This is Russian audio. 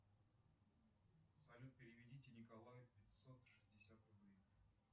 салют переведите николаю пятьсот шестьдесят рублей